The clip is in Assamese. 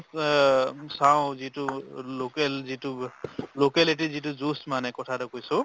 আ চাওঁ যিটো local যিটো locality যিটো juice মানে কথা এটা কৈছো